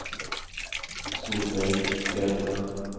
Solveig Björkman